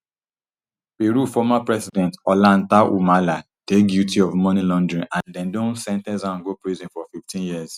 peru former president ollanta humala dey guilty of money laundering and dem don sen ten ce am go prison for fifteen years